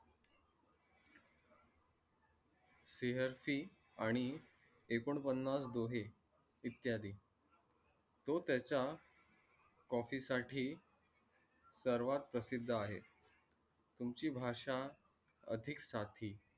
प्रेय्शी आणि ऐकोन पान्नास्वे दोहे यीत्यांदि. तो त्याच्या copy साठी सर्वात प्र्शिद्द आहे. तुमची भाशा आदिक साठी